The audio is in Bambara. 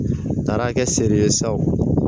N taara kɛ seri ye sa o